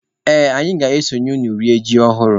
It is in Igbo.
Ee, anyị ga-eso unu rie ji ọhụrụ.